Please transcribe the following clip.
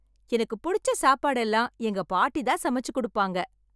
எனக்கு புடிச்ச சாப்பாடு எல்லாம் எங்க பாட்டி தான் சமைச்சு கொடுப்பாங்க.